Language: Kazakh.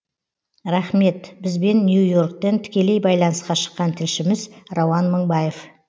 рахмет бізбен нью йорктен тікелей байланысқа шыққан тішліміз рауан мыңбаев